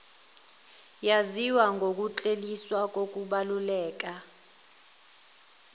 yaziwa ngokukleliswa kokubaluleka